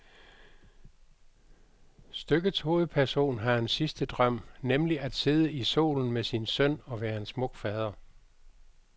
Stykkets hovedperson har en sidste drøm, nemlig at sidde i solen med sin søn og være en smuk fader.